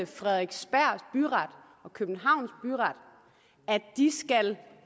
frederiksberg og københavns byret at de skal